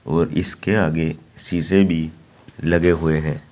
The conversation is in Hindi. और इसके आगे शीशे भी लगे हुए हैं।